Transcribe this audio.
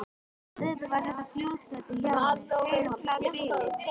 Auðvitað var þetta fljótfærni hjá henni, hrein og klár bilun.